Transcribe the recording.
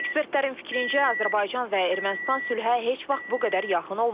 Ekspertlərin fikrincə, Azərbaycan və Ermənistan sülhə heç vaxt bu qədər yaxın olmayıblar.